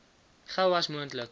gou as moontlik